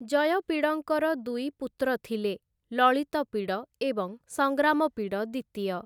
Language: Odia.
ଜୟପିଡ଼ଙ୍କର ଦୁଇ ପୁତ୍ର ଥିଲେ, ଲଳିତପିଡ଼ ଏବଂ ସଂଗ୍ରାମପିଡ଼ ଦିତୀୟ ।